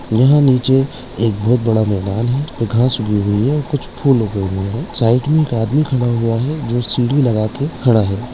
यहाँ नीचे एक बहुत बड़ा मैदान है घास उगी हुई है कुछ फूल उगे हुए हैं साइड में एक आदमी खड़ा हुआ है जो सीढ़ी लगा के खड़ा है।